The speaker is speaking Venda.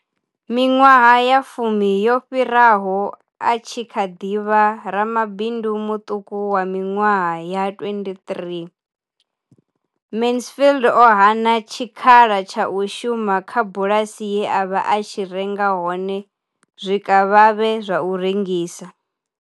Miṅwaha ya fumi yo fhiraho, a tshi kha ḓi vha ramabindu muṱuku wa miṅwaha ya 23, Mansfield o hana tshikhala tsha u shuma kha bulasi ye a vha a tshi renga hone zwikavhavhe zwa u rengisa.